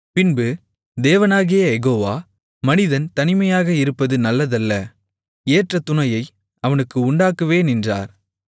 பின்பு தேவனாகிய யெகோவா மனிதன் தனிமையாக இருப்பது நல்லதல்ல ஏற்ற துணையை அவனுக்கு உண்டாக்குவேன் என்றார்